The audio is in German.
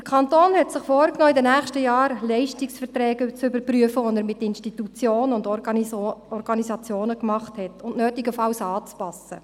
Der Kanton hat sich vorgenommen, in den nächsten Jahren Leistungsverträge, welche er mit Institutionen, Organisationen oder auch Schulen abgeschlossen hat, zu überprüfen und nötigenfalls anzupassen.